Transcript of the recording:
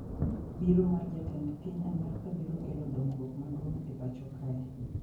Biro mar jatend piny Amerka biro kelo dongruok maduong e pacho kae